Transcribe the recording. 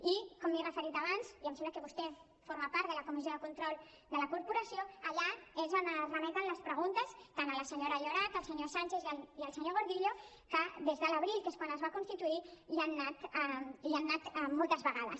i com m’hi he referit abans i em sembla que vostè forma part de la comissió de control de la corporació allà és on es remeten les preguntes tant a la senyora llorach al senyor sanchis i al senyor gordillo que des de l’abril que és quan es va constituir hi han anat moltes vegades